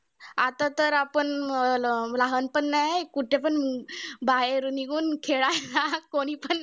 आता तर आपण अं ल लहान पण नाय कुठेपण, बाहेर निघून खेळायला. कोणीपण